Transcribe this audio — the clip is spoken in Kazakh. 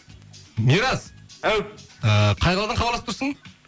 мирас әу ыыы қай қаладан хабарласып тұрсың